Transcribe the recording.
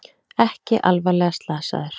Ekki alvarlega slasaður